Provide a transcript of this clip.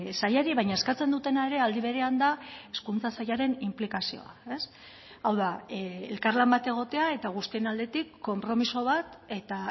sailari baina eskatzen dutena ere aldi berean da hezkuntza sailaren inplikazioa hau da elkarlan bat egotea eta guztien aldetik konpromiso bat eta